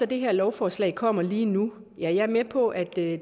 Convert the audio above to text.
det her lovforslag kommer lige nu jeg er med på at